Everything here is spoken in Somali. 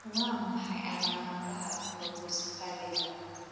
Waa maxay calaamadaha colpocephaliga?